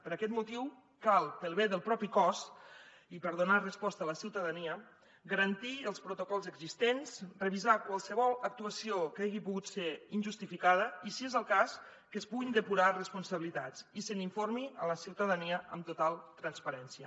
per aquest motiu cal pel bé del mateix cos i per donar resposta a la ciutadania garantir els protocols existents revisar qualsevol actuació que hagi pogut ser injustificada i si és el cas que es puguin depurar responsabilitats i se n’informi la ciutadania amb total transparència